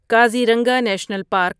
Kaziranga national park